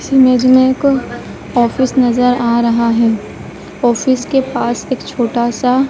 इस इमेज में एक ऑफिस नजर आ रहा है ऑफिस के पास एक छोटा सा--